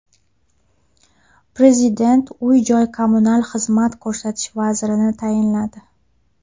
Prezident uy-joy kommunal xizmat ko‘rsatish vazirini tayinladi.